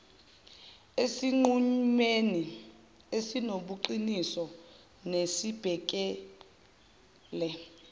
esinqumweni esinobuqiniso nesibhekele